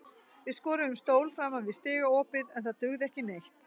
Við skorðuðum stól framan við stigaopið en það dugði ekki neitt.